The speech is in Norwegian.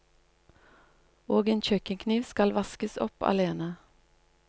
Og en kjøkkenkniv skal vaskes opp alene.